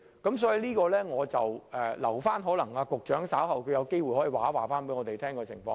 因此，或許我留待局長稍後有機會再告知我們相關情況。